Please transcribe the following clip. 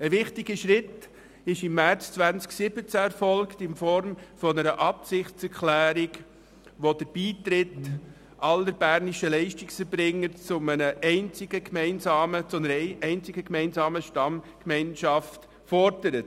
Ein wichtiger Schritt erfolgte im März 2017 in Form einer Absichtserklärung, die den Beitritt aller bernischen Leistungserbringer zu einer einzigen gemeinsamen Stammgemeinschaft fordert.